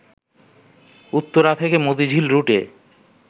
উত্তরা থেকে মতিঝিল রুটে